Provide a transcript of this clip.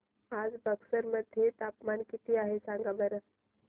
आज बक्सर मध्ये तापमान किती आहे सांगा बरं